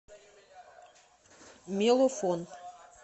мелофон